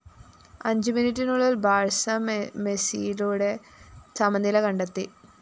അഞ്ചുമിനിറ്റിനുളളില്‍ Barca മെസിയിലൂടെ സമനില കണ്ടെത്തി